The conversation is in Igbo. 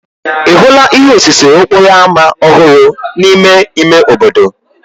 Ị hụla ihe osise okporo ámá ọhụrụ n'ime ime obodo?